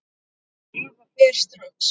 Eva fer strax.